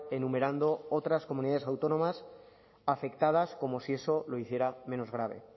enumerando otras comunidades autónomas afectadas como si eso lo hiciera menos grave